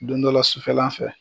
Don dɔ la sufɛlan fɛ.